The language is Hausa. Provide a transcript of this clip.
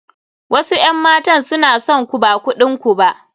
Wasu 'yan matan suna son ku ba kudin ku ba.